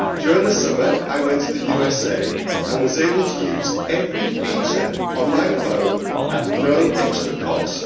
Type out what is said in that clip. During the summer I went to the USA and was able to use every feature on my phone at no extra cost.